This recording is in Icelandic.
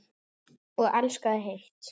Og elskaði heitt.